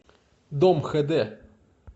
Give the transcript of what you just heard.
дом хэ дэ